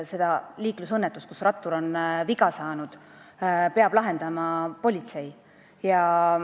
Seda liiklusõnnetust, kus rattur on viga saanud, peab lahendama politsei.